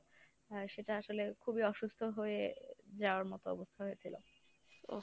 হ্যাঁ সেটা আসলে খুবই অসুস্থ হয়ে যাওয়ার মত অবস্থা হয়েছিল।